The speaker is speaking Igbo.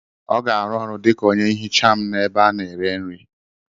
Ọ ga-arụ ọrụ dịka onye nhicha m n'ebe a na-ere nri.